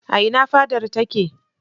A ina fadar take?